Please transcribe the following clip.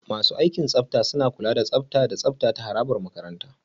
Masu aikin tsafta suna kula da tsafta da tsafta a harabar makaranta.